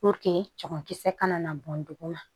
Puruke cɛman kisɛ kana na bɔn duguma